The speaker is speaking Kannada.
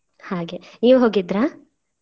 ಹಾಗೆ ನೀವು ಹೋಗಿದ್ರಾ.